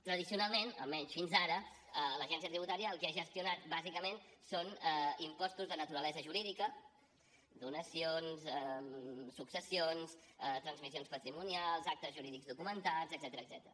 tradicionalment almenys fins ara l’agència tributària el que ha gestionat bàsicament són impostos de naturalesa jurídica donacions successions transmissions patrimonials actes jurídics documentats etcètera